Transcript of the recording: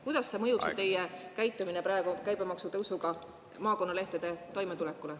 Kuidas mõjutab teie käibemaksu tõsta maakonnalehtede toimetulekut?